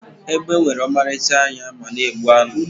egbe nwere ọmarịcha anya ma na-egbu anụ